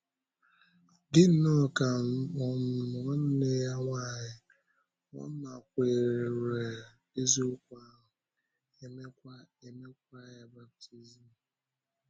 Dị nnọọ ka um nwanne ya nwanyị, ọ nakwèrè eziokwu ahụ, e meekwa e meekwa ya baptizim.